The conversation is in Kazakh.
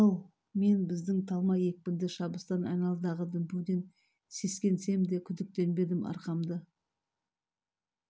ал мен біздің талма екпінді шабыстан айналадағы дүмпуден сескенсем де күдіктенбедім арқамды